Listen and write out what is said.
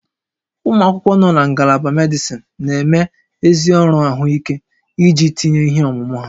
Ụmụ akwụkwọ nọ na Ngalaba medịsịn na-eme ezi ọrụ ahụike iji tinye ihe ọmụma ha